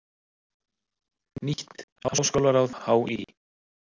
Nýtt háskólaráð HÍ